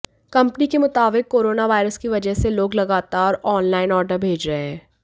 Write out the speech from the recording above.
company के मुताबिक coronavirus की वजह से लोग लगातार ऑनलाइन ऑर्डर भेज रहे हैं